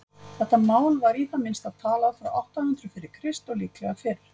þetta mál var í það minnsta talað frá átta hundruð fyrir krist og líklega fyrr